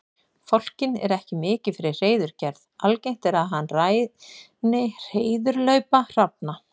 Fálkinn er ekki mikið fyrir hreiðurgerð, algengt er að hann ræni hreiðurlaupa hrafna.